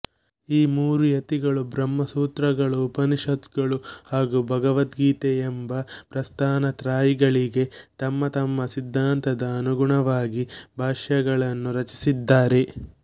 ಈ ಮೂರೂ ಯತಿಗಳು ಬ್ರಹ್ಮ ಸೂತ್ರಗಳು ಉಪನಿಷತ್ಗಳು ಹಾಗೂ ಭಗವದ್ಗೀತೆಯೆಂಬ ಪ್ರಸ್ಥಾನತ್ರಯೀಗಳಿಗೆ ತಮ್ಮ ತಮ್ಮ ಸಿದ್ಧಾಂತದ ಅನುಗುಣವಾಗಿ ಭಾಷ್ಯಗಳನ್ನು ರಚಿಸಿದ್ದಾರೆ